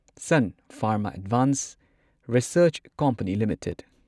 sun Pharma advanced research company limited